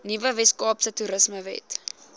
nuwe weskaapse toerismewet